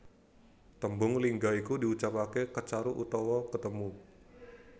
Tembung lingga iku diucapake Kecaruk utawa ketemu